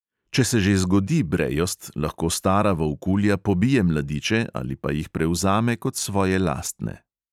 Če se že zgodi brejost, lahko stara volkulja pobije mladiče ali pa jih prevzame kot svoje lastne.